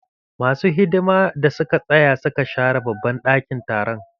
Ma su hidima da suka tsaya suka share babban ɗakin taron.